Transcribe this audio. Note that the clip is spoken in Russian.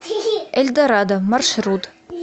эльдорадо маршрут